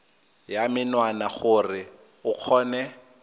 ya menwana gore o kgone